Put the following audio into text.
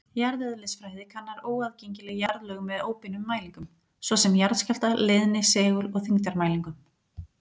Jarðeðlisfræði kannar óaðgengileg jarðlög með óbeinum mælingum, svo sem jarðskjálfta-, leiðni-, segul- og þyngdarmælingum.